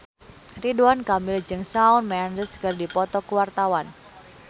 Ridwan Kamil jeung Shawn Mendes keur dipoto ku wartawan